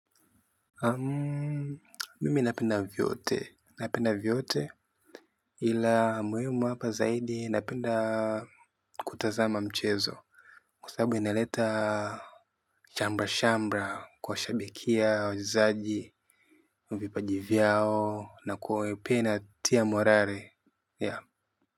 Mimi napenda vyote napenda vyote ila muhimu hapa zaidi napenda kutazama mchezo kwa sababu inaleta shamra shamra kwa shabikia wajezaji na vipajivyao na kuopena tia morale ya.